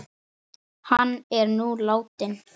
Hann er nú látinn.